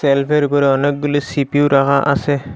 সেলফের উপরে অনেকগুলি সি_পি_ইউ রাহা আসে।